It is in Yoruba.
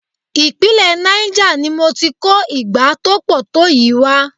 Ìpínlẹ̀ Niger ni mo ti kó igbá tó pọ̀ tó yìí wá.